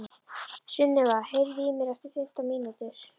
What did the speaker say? Sunniva, heyrðu í mér eftir fimmtán mínútur.